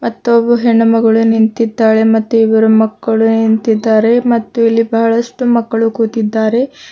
ಮತ್ತು ಒಬ್ಬು ಹೆಣ್ಣು ಮಗಳು ನಿಂತಿದ್ದಾಳೆ ಮತ್ತು ಇಬರು ಮಕ್ಕಳು ನಿಂತಿದ್ದಾರೆ ಮತ್ತು ಇಲ್ಲಿ ಬಹಳಷ್ಟು ಮಕ್ಕಳು ಕೂತಿದ್ದಾರೆ.